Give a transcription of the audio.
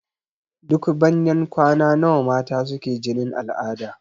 Duk banyan kwana nawa mata suke jinin al'ada?